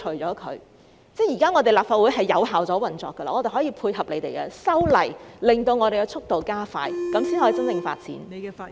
我們的立法會現已有效地運作，可以配合政府修例，令速度加快，這樣才可以真正地發展。